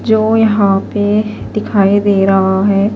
. جو یحیٰ پی دکھائی دے رہا ہیں